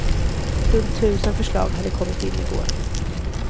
Runt tusen förslag hade kommit in i går.